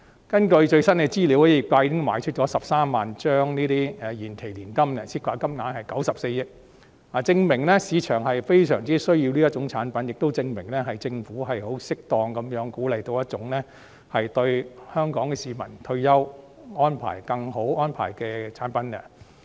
根據最新的資料，業界已經售出13萬張延期年金保單，涉及金額94億元，證明市場對這類產品需求殷切，亦證明政府適當鼓勵了為香港市民提供更佳退休安排的一種產品。